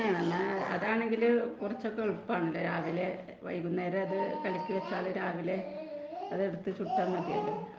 അതാണെങ്കിൽ കുറച്ചൊക്കെ എളുപ്പം ആണ് .വൈകുന്നേരം അത് കലക്കി വെച്ചാൽ രാവിലെ അത് എടുത്തു ചുട്ടാല് മതി .